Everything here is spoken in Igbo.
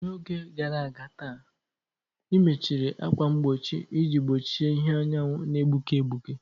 N'oge gara aga taa, ị mechiri ákwà mgbochi iji gbochie ìhè anyanwụ na-egbuke egbuke.